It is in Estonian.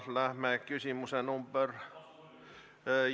Läheme küsimuse nr 11 ...